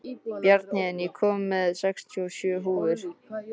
Bjarnhéðinn, ég kom með sextíu og sjö húfur!